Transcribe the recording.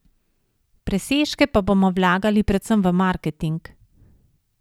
Presežke pa bomo vlagali predvsem v marketing.